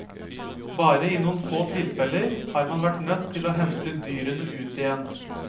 Bare i noen få tilfeller har man vært nødt til å hente dyrene ut igjen.